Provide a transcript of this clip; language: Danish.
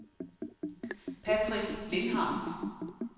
Patrick Lindhardt